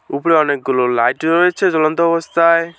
উপরে অনেকগুলো লাইট রয়েছে জলন্ত অবস্থায়।